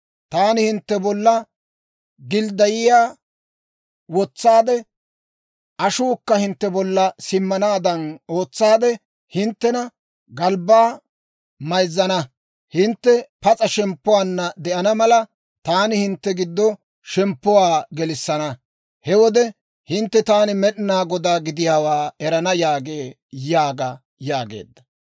Taani hintte bolla gildayiyaa (s'ap'otuwaa) wotsaade, ashuukka hintte bolla simmanaadan ootsaade, hinttena galbbaa mayzzana. Hintte pas'a shemppuwaanna de'ana mala, taani hintte giddo shemppuwaa gelissana. He wode hintte taani Med'inaa Godaa gidiyaawaa erana» yaagee› yaaga» yaageedda.